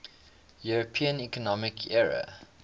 european economic area